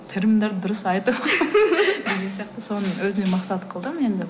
дұрыс айтып деген сияқты соны өзіме мақсат қылдым енді